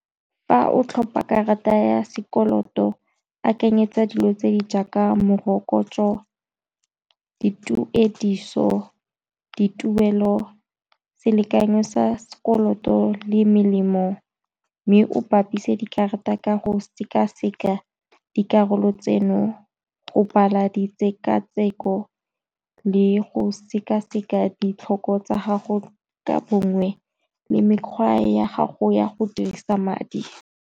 Fa o tlhopa karata ya sekoloto akanyetsa dilo tse di jaaka morokotso, dituediso, dituelo selekanyo sa sekoloto, le melemo mme o bapise dikarata ka go sekaseka dikarolo tseno, o bala di tshekatsheko le go sekaseka ditlhoko tsa gago ka bongwe le mekgwa ya gago ya go dirisa madi.